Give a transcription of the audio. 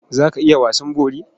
Za ka iya wasan bori?